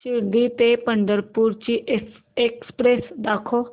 शिर्डी ते पंढरपूर ची एक्स्प्रेस दाखव